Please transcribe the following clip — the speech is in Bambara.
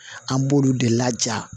An b'olu de laja